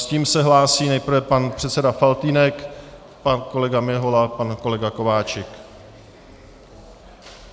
S tím se hlásí nejprve pan předseda Faltýnek, pan kolega Mihola, pan kolega Kováčik.